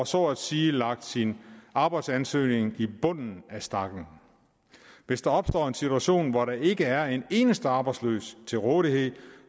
så at sige lagt sin arbejdsansøgning i bunden af stakken hvis der opstår en situation hvor der ikke er en eneste arbejdsløs til rådighed